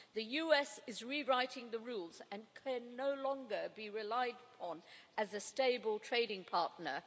The US is rewriting the rules and can no longer be relied on as a stable trading partner.